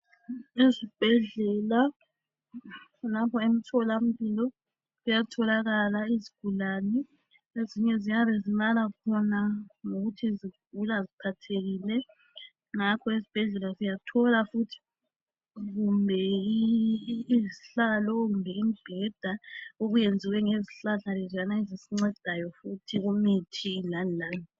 Ezibhedlela kulapho emtholampilo kuyatholakala izigulani, ezinye ziyabe zilala khona ngokuthi zigula ziphathekile Ngakho esibhedlela siyathola futhi kumbe izihlalo, kumbe imbheda okuwenziwe ngezihlahla leziyana ezisincedayo kumithi lani lani.